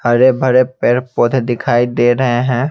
हरे-भरे पैर पौधे दिखाई दे रहे हैं।